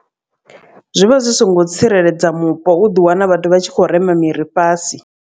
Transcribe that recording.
Zwi vha zwi songo tsireledza mupo u ḓi wana vhathu vha tshi kho rema miri fhasi.